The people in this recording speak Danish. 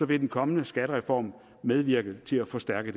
vil den kommende skattereform medvirke til at forstærke